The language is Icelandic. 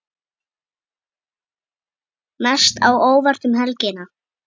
Mest á óvart um helgina?